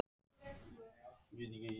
Hadda, ekki fórstu með þeim?